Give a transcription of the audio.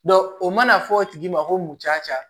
o mana fɔ o tigi ma ko muncaa